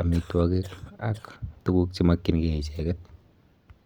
amitwagik, ak tuguk che makchinkey icheket